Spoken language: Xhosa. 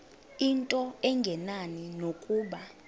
into engenani nokuba